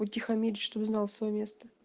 утихомирить чтобы знал своё место